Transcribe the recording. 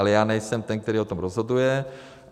Ale já nejsem ten, který o tom rozhoduje.